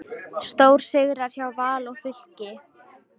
Stórsigrar hjá Val og Fylki